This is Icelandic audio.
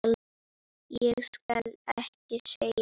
Ég skal ekki segja.